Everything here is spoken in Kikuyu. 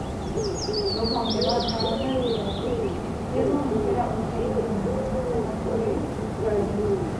Rũhonge rwa dawa na mbirarũ nĩrwamũkĩra ũteithio mũnene kũũma kũri thirikari